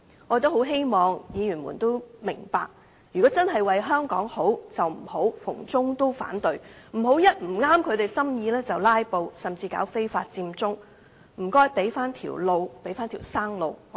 我希望議員明白，如果真的為香港好，便不要逢中必反，不要一不合心意便"拉布"，甚至搞非法佔中，請給香港人一條生路。